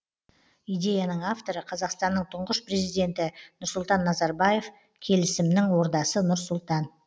идеяның авторы қазақстанның тұңғыш президенті нұрсұлтан назарбаев келісімнің ордасы нұр сұлтан